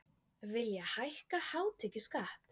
Vilja hækka hátekjuskatt